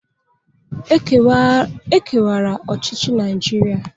E kewara ọchịchị Naịjiria.